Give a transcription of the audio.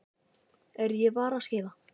Er ég varaskeifa?